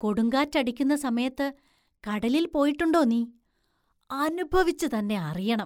കൊടുങ്കാറ്റക്കടിക്കുന്ന സമയത്ത് കടലിൽ പോയിട്ടുണ്ടോ നീ? അനുഭവിച്ചു തന്നെ അറിയണം.